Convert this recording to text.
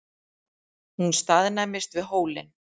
Hún staðnæmist við hólinn.